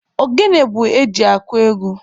Ogene bụ eji akụ egwu.